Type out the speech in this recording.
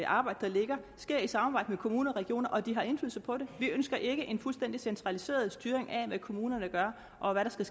arbejde der er sker i samarbejde med kommuner og regioner og at de har indflydelse på det vi ønsker ikke en fuldstændig centraliseret styring af hvad kommunerne gør og hvad der skal